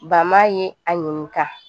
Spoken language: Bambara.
ye a ɲininka